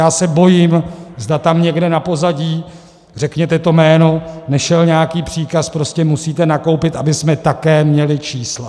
Já se bojím, zda tam někde na pozadí, řekněte to jméno, nešel nějaký příkaz: prostě musíte nakoupit, abychom také měli čísla.